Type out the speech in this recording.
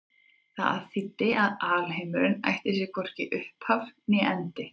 Það þýddi að alheimurinn ætti sér hvorki upphaf né endi.